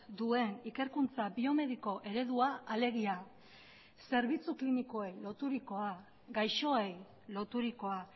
duen ikerkuntza biomediko eredua alegia zerbitzu klinikoei loturikoa gaixoei loturikoa